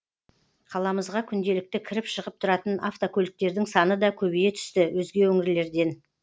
қаламызға күнделікті кіріп шығып тұратын автокөліктердің саны да көбейе түсті өзге өңірлерден